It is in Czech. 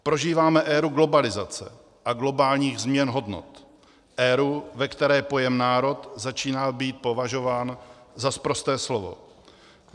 Prožíváme éru globalizace a globálních změn hodnot, éru, ve které pojem národ začíná být považován za sprosté slovo.